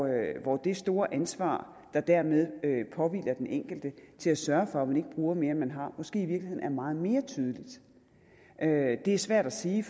det store ansvar der dermed påhviler den enkelte til at sørge for at man ikke bruger mere end man har måske i virkeligheden er meget mere tydeligt det er svært at sige